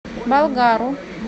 болгару